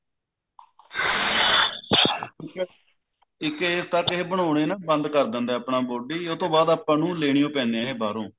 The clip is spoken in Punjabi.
ਇੱਕ ਇਹ ਤੱਤ ਇਹ ਬਣਾਉਣੇ ਨਾ ਬੰਦ ਕਰ ਦਿੰਦੇ ਆ ਆਪਣਾ body ਉਹ ਤੋਂ ਬਾਅਦ ਆਪਾਂ ਨੂੰ ਲੇਣਿਓ ਪੈਂਦੇ ਨੇ ਇਹ ਬਾਹਰੋ